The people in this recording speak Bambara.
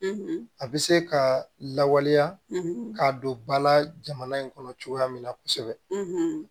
a bɛ se ka lawaleya k'a don bala jamana in kɔnɔ cogoya min na kosɛbɛ